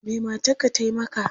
Me matarka ta yi maka?